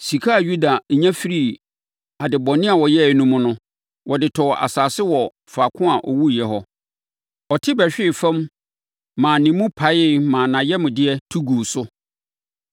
(Sika a Yuda nya firii ade bɔne a ɔyɛeɛ no mu no, wɔde tɔɔ asase wɔ faako a ɔwuiɛ hɔ. Ɔte bɛhwee fam maa ne mu paeeɛ maa nʼayamdeɛ tu guu so.